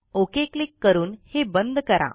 okay click करून हे बंद करा